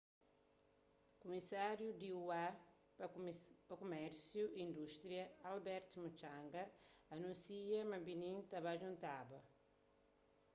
kumisáriu di ua pa kumérsiu y indústria albert muchanga anúnsia ma benim ta ba djuntaba